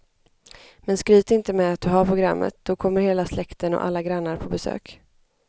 Men skryt inte med att du har programmet, då kommer hela släkten och alla grannar på besök.